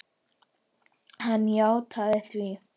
Hann játaði því.